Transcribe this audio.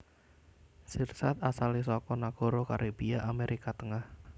Sirsat asalé saka nagara Karibia Amérika Tengah